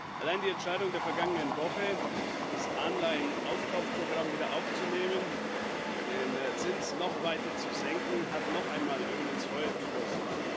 Allein die Entscheidung der vergangenen Woche, das Anleihen Aufkaufprogramm wieder aufzunehmen, den Zins noch weiter zu senken, hat noch einmal Öl ins Feuer gegossen.